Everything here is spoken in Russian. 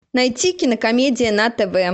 найти кинокомедия на тв